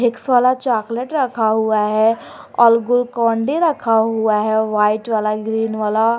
Vicks वाला chocolate रखा हुआ है और ग्लूकोन डी रखा हुआ है वाइट वाला ग्रीन वाला।